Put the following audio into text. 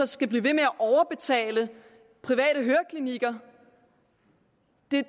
skal blive ved med at overbetale private høreklinikker